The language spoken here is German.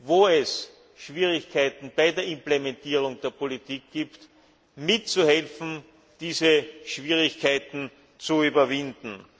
wo es Schwierigkeiten bei der Implementierung der Politik gibt, mitzuhelfen, diese Schwierigkeiten zu überwinden.